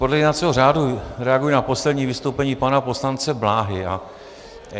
Podle jednacího řádu reaguji na poslední vystoupení pana poslance Bláhy.